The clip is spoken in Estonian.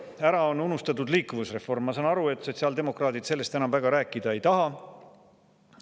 Ära on unustatud liikuvusreform, ma saan aru, et sotsiaaldemokraadid sellest enam väga rääkida ei taha.